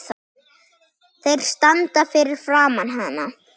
Þeir standa fyrir framan hana.